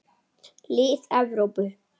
Lið Evrópu.